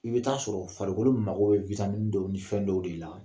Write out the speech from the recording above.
I bɛ taa sɔrɔ farikolo mako bɛ witamini dɔw ni fɛn dɔw de la